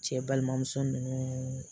Cɛ balimamuso ninnu